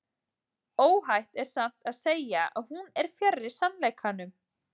Óhætt er samt að segja að hún er fjarri sannleikanum.